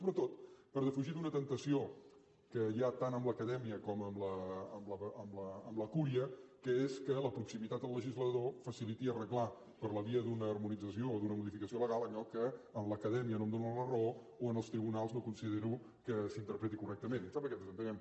sobretot per defugir d’una temptació que hi ha tant en l’acadèmia com en la cúria que és que la proximitat del legislador faciliti arreglar per la via d’una harmonització o d’una modificació legal allò que en l’acadèmia no em dóna la raó o en els tribunals no considero que s’interpreti correctament em sembla que ens entenem